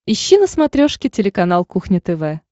ищи на смотрешке телеканал кухня тв